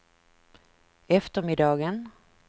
eftermiddagen